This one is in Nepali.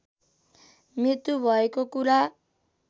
मृत्यु भएको कुरा